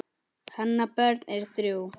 Hennar börn eru þrjú.